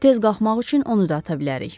Tez qalxmaq üçün onu da ata bilərik.